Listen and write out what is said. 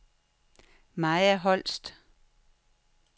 Maja Holst